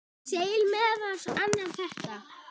segir meðal annars þetta